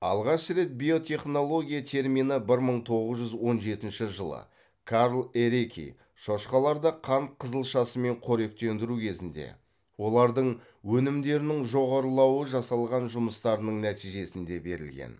алғаш рет биотехнология термині бір мың тоғыз жүз он жетінші жылы карл эреки шошқаларды қант қызылшасымен қоректендіру кезінде олардың өнімдерінің жоғарылауы жасалған жұмыстарының нәтижесінде берілген